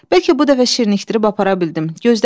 Bəlkə bu dəfə şirinləşdirib apara bildim.